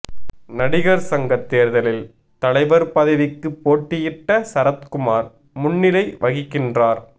நடிகர் சங்க தேர்தலில் தலைவர் பதவிக்கு போட்டியிட்ட சரத்குமார் முன்னிலை வகிக்கின்றார்